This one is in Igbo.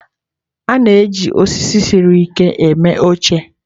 A na-eji osisi siri ike mee oche.